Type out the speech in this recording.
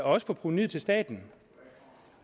og for provenuet til staten